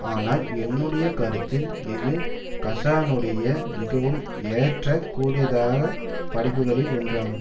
ஆனால் என்னுடைய கருத்தில் இது கசானுடைய மிகவும் ஏற்க கூடியதாக படைப்புக்களில் ஒன்றாகும்